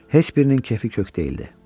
Heç birinin kefi kök deyildi.